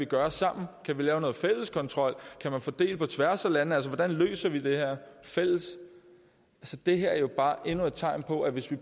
gøre sammen kan vi lave noget fælles kontrol kan man fordele på tværs af landene hvordan løser vi det her fælles det her er jo bare endnu et tegn på at hvis vi